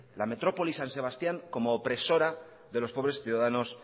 la metrópoli san sebastián como opresora de los pobres ciudadanos